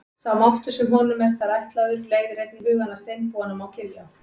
Sá máttur sem honum er þar ætlaður leiðir einnig hugann að steinbúanum á Giljá.